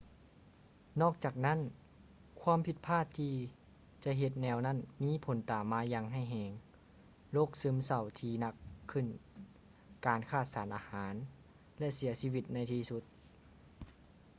ນອກຈາກນັ້ນ ຄວາມຜິດພາດທີ່ຈະເຮັດແນວນັ້ນມີຜົນຕາມມາຢ່າງຮ້າຍແຮງ ໂລກຊຶມເສົ້າທີ່ໜັກຂຶ້ນ ການຂາດສານອາຫານ ແລະ ເສຍຊີວິດໃນທີ່ສຸດ